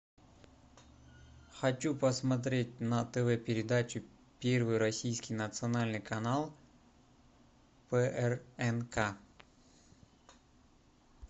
хочу посмотреть на тв передачу первый российский национальный канал прнк